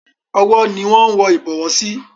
Ọwọ́ ni wón ń wọ Ìbọwọ́ sí.